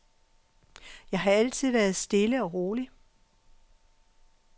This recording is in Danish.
Jeg har altid været stille og rolig.